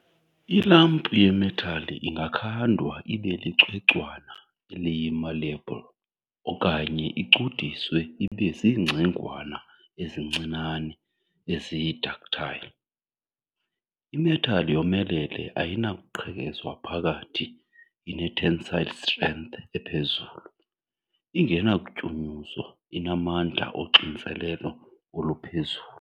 I-lump yemetal ingakhandwa ibe licwecwana, eliyi-malleable, okanye icudiswe ibe zingcingwana ezincinane, eziyi-ductile. I-metal yomelele ayinakuqhekezwa phakathi, ine-tensile strength ephezulu, ingenakutyunyuzwa, inamandla oxinzelelo oluphezulu.